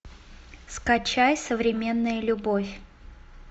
скачай современная любовь